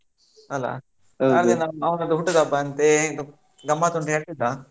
ಅಲ್ಲಾ ಹಾಗೆ ಅವನದು ಹುಟ್ಟು ಹಬ್ಬ ಅಂತೆ. ಗಮ್ಮತ್ ಉಂಟು ಹೇಳ್ತಿದ್ದ.